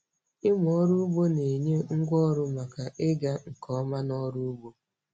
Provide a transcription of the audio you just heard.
Ịmụ ọrụ ugbo na-enye ngwá ọrụ maka ịga nke ọma nọrụ ugbo.